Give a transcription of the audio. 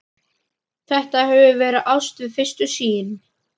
Þetta hefur verið ást við fyrstu sýn.